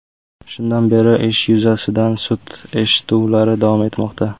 Shundan beri ish yuzasidan sud eshituvlari davom etmoqda.